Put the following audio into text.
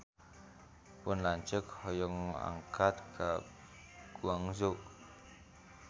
Pun lanceuk hoyong angkat ka Guangzhou